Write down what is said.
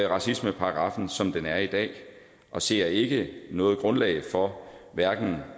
racismeparagraffen som den er i dag og ser ikke noget grundlag for hverken